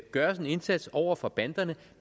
gøres en indsats over for banderne